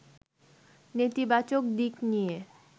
নেতিবাচক দিক নিয়ে